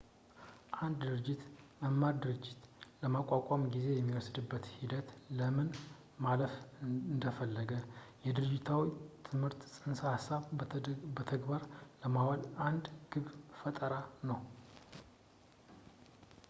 አንድ ድርጅት የመማር ድርጅት ለማቋቋም ጊዜ የሚወስድበትን ሂደት ለምን ማለፍ ፈለገ የድርጅታዊ ትምህርት ፅንሰ-ሀሳቦችን በተግባር ለማዋል አንድ የግብ ፈጠራ ነው